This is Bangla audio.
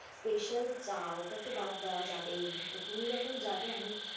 special চা ওটা তো বাদ দেওয়া যাবেই না, তো তুমি যখন যাবে আমি